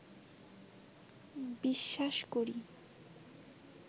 বিশ্বাস করি